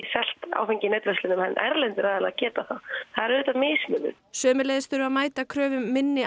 áfengi í netverslunum en erlendir aðilar geta það það er auðvitað mismunun sömuleiðis þurfi að mæta kröfum minni